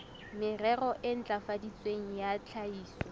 merero e ntlafaditsweng ya tlhahiso